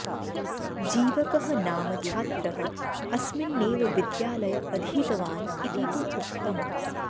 जीवकः नाम छात्रः अस्मिन्नेव विद्यालय अधीतवान् इति तु उक्तम्